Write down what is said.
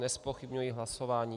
Nezpochybňuji hlasování.